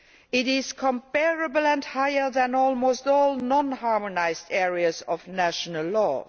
It is comparable to and higher than almost all non harmonised areas of national law.